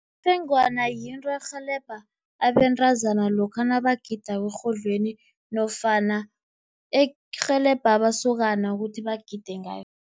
Ifengwana yinto erhelebha abentazana lokha nabagidako erhodlweni, nofana erhelebha amasokana ukuthi bagide ngayo.